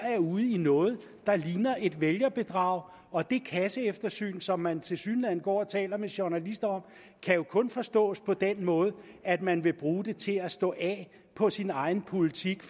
ude i noget der ligner et vælgerbedrag og det kasseeftersyn som man tilsyneladende går og taler med journalister om kan jo kun forstås på den måde at man vil bruge det til at stå af på sin egen politik